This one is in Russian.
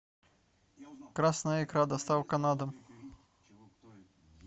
красная икра доставка на дом